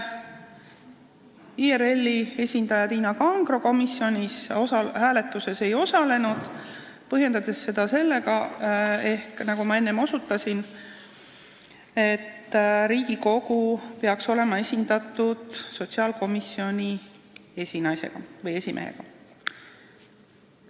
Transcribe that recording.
IRL-i esindaja Tiina Kangro komisjoni hääletuses ei osalenud, põhjendades seda sellega, et Riigikogu peaks olema nõukogus esindatud sotsiaalkomisjoni esinaise või esimehega.